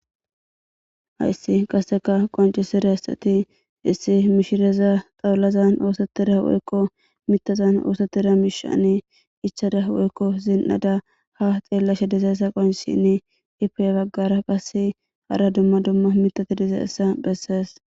Haysi qaseka qoncisidaysati issi mishiraza xawulazani osetida woyko mithazani osetida mishani ichada woyko zin'ada ha xeelashe dizaysa qoncisishn ipe ha bagara qase hara dumma dumma mithati dizaysa besesi.